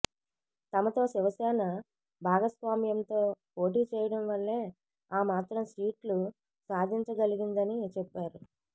తమతో శివసేన భాగస్వామ్యంతో పోటీ చేయడం వల్లే ఆ మాత్రం సీట్లు సాధించగలిగిందని చెప్పారు